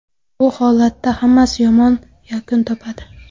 Bu holatda hammasi yomon yakun topadi.